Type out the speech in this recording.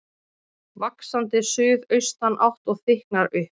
Vaxandi suðaustanátt og þykknar upp